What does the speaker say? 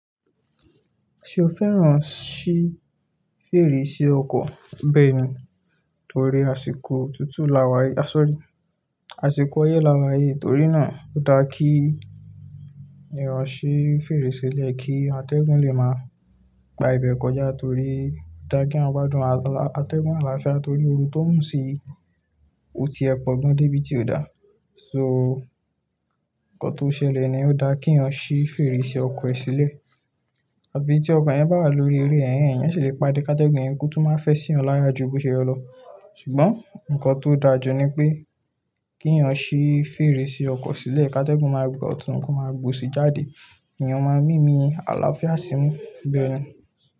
Ṣé o fẹ́ràn ṣí fèrèsé ọkọ̀? Bẹ́ẹ̀ni, torí àsìkò tútù lawá-- a sọrí, àsìkò oyé lawáyi, torí náà ó dá kí eyán ṣí fèrèsé ki atẹ́gùn lè máa gba ibẹ̀ kọjá, torí ó dá kí eyan gbádùn atẹ́gùn àlàáfíà, torí oorun tó ń sì òtí lẹpọ̀ gan tí kò dá. So, ǹkan tó ṣẹlẹ̀ ni ó dá kí ìyá ọ ṣí fèrèsé ọkọ̀ sílẹ̀. Àbí tí ọkọ̀ yẹn bá wà lórí eré ẹhen, ẹ̀yan ṣe lè pàdé katẹ́gùn yẹn kí ó tó máa fẹ́ sí ọ láyà ju bó ṣe lọ. Ṣùgbọ́n ǹkan tó dáa jù ni pé kí eyán ṣí fèrèsé ọkọ̀ sílẹ̀, katẹ́gùn máa gbà ọ̀tún, kó máa gbò osí jáde, èèyàn máa mímí àlàáfíà sí imu, bẹ́ẹ̀ni.